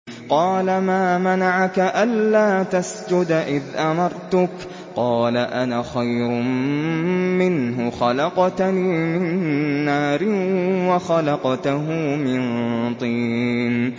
قَالَ مَا مَنَعَكَ أَلَّا تَسْجُدَ إِذْ أَمَرْتُكَ ۖ قَالَ أَنَا خَيْرٌ مِّنْهُ خَلَقْتَنِي مِن نَّارٍ وَخَلَقْتَهُ مِن طِينٍ